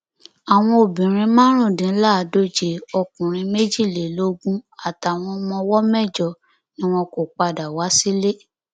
àwọn obìnrin márùndínláàádóje ọkùnrin méjìlélógún àtàwọn ọmọ ọwọ mẹjọ ni wọn kò padà wá sílé